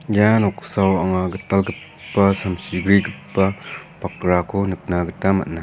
ia noksao anga gitalgipa samsi grigipa bakrako nikna gita man·a.